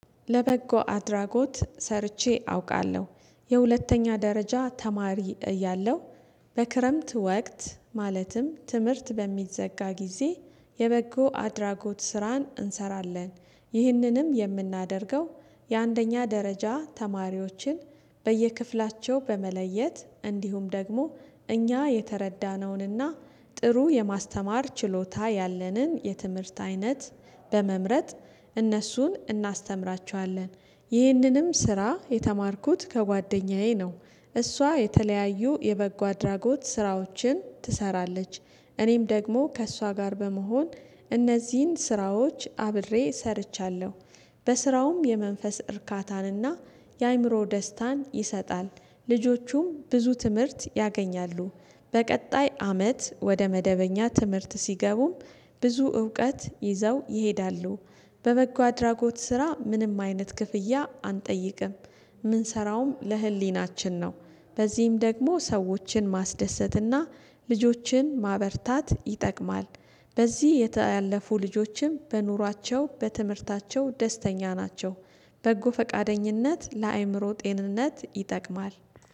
ለበጎ አድራጎት ሰርቼ አውቃለሁ። የሁለተኛ ደረጃ ተማሪ እያለሁ በክረምት ወቅት ማለትም ትምህርት በሚዘጋ ጊዜ የበጎ አድራጎት ስራን እንሰራለን። ይህንንም የምናደርገው የአንደኛ ደረጃ ተማሪዎችን በየክፍላቸው በመለየት እንዲሁም ደግሞ እኛ የተረዳነውንና ጥሩ የማስተማር ችሎታ ያለንን የትምህርት አይነት በመምረጥ እነሱን እናስተምራቸዋለን። ይህንንም ስራ የተማርኩት ከጓደኛዬ ነው። እሷ የተለያዩ የበጎ አድራጎት ስራዎችን ትሰራለች። እኔም ደግሞ ከእሷ ጋር በመሆን እነዚህን ስራዎች አብሬ ሰርቻለሁ። በስራውም የመንፈስ እርካታንና የአእምሮ ደስታን ይሰጣል። ልጆቹም ብዙ ትምህርት ያገኛሉ። በቀጣይ አመት ወደ መደበኛ ትምህርት ሲገቡም ብዙ እውቀት ይዘው ይሄዳሉ። በበጎ አድራጎት ስራ ምንም አይነት ክፍያ አንጠይቅም። የምንሰራውም ለህሊናችን ነው። በዚህም ደግሞ ሰዎችን ማስደሰትና ልጆችን ማበርታት ይጠቅማል። በዚህ ያለፉ ልጆችም በኑሯቸው በትምህርታቸው ደስተኛ ናቸው። በጎ ፈቃደኝነት ለአእምሮ ጤንነት ይጠቅማል።